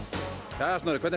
jæja Snorri hvernig